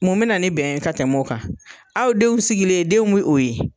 Mun bɛ na ni bɛn ye ka tɛmɛ o kan aw denw sigilen , denw bɛ o ye